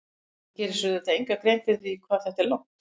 Hann gerir sér auðvitað enga grein fyrir því hvað þetta er langt.